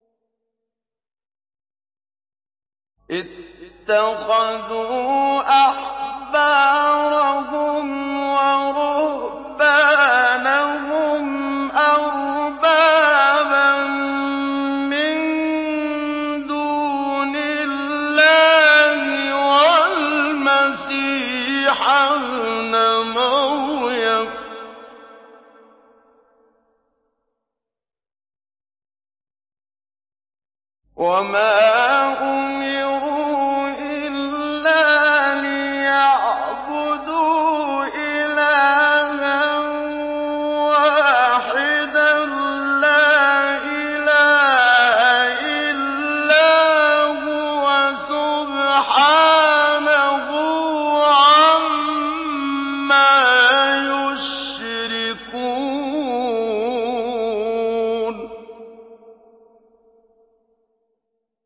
اتَّخَذُوا أَحْبَارَهُمْ وَرُهْبَانَهُمْ أَرْبَابًا مِّن دُونِ اللَّهِ وَالْمَسِيحَ ابْنَ مَرْيَمَ وَمَا أُمِرُوا إِلَّا لِيَعْبُدُوا إِلَٰهًا وَاحِدًا ۖ لَّا إِلَٰهَ إِلَّا هُوَ ۚ سُبْحَانَهُ عَمَّا يُشْرِكُونَ